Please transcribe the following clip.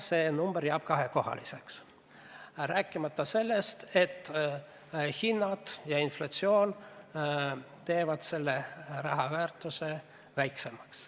See number jääb ikka kahekohaliseks, rääkimata sellest, et hinnad ja inflatsioon teevad selle raha väärtuse väiksemaks.